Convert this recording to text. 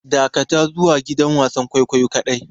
Dakatar zuwa gidan wasan kwaikwayo kadai!